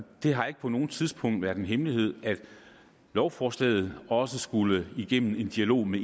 det har ikke på noget tidspunkt været en hemmelighed at lovforslaget også skulle igennem en dialog med